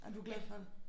Og du glad for det?